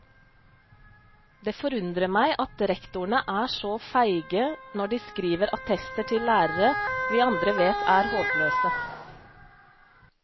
Det forundrer meg at rektorene er så feige når de skriver attester til lærere vi andre vet er håpløse.